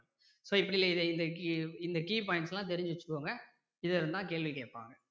so இப்படி இதை இதை இந்த key points லாம் தெரிஞ்சி வச்சிக்கோங்க இதுல இருந்து தான் கேள்வி கேட்பாங்க